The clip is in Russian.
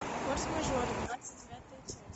форс мажоры двадцать девятая часть